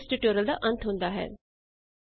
ਇਸ ਤਰਹ ਇਸ ਟਿਊਟੋਰਿਅਲ ਦਾ ਅੰਤ ਹੁੰਦਾ ਹੈ